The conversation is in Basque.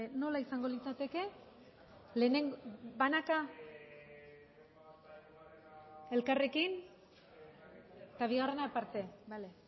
nola izango litzateke lehenengo banaka elkarrekin eta bigarrena aparte bale